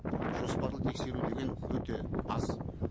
жоспарлы тексеру деген өте аз